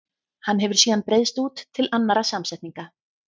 Hann hefur síðan breiðst út til annarra samsetninga.